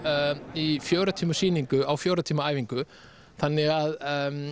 í fjögurra tíma sýningu á fjögurra tíma æfingu þannig að